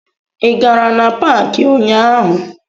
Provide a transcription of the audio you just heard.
Ị gara na paakị ụnyaahụ?